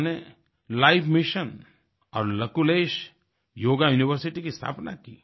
उन्होंने life mission और Lakulish yoga university की स्थापना की